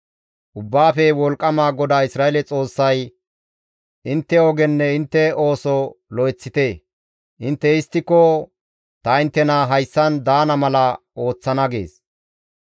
Ubbaafe Wolqqama GODAA Isra7eele Xoossay, ‹Intte ogenne intte ooso lo7eththite; intte histtiko ta inttena hayssan daana mala ooththana› gees.